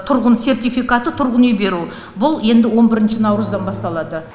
тұрғын сертификаты тұрғын үй беру бұл енді он бірінші наурыздан басталады